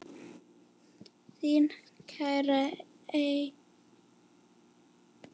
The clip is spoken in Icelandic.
Þín, Kara Eir.